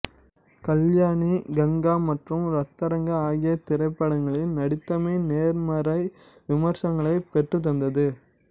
கல்யாணி கங்கா மற்றும் ரத்தரங் ஆகிய திரைப்படங்களில் நடித்தமை நேர்மறை விமர்சனங்களை பெற்றுத்தந்தது